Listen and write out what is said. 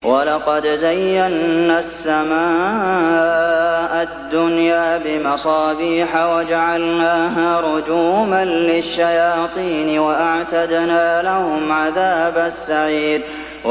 وَلَقَدْ زَيَّنَّا السَّمَاءَ الدُّنْيَا بِمَصَابِيحَ وَجَعَلْنَاهَا رُجُومًا لِّلشَّيَاطِينِ ۖ وَأَعْتَدْنَا لَهُمْ عَذَابَ السَّعِيرِ